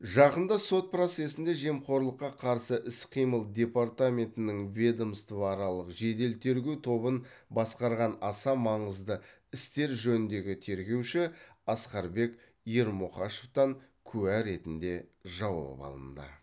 жақында сот процесінде жемқорлыққа қарсы іс қимыл департаментінің ведомствоаралық жедел тергеу тобын басқарған аса маңызды істер жөніндегі тергеуші асқарбек ермұқашевтан куә ретінде жауап алынды